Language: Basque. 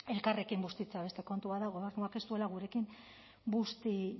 elkarrekin bustitzea beste kontu bat da gobernuak ez duela busti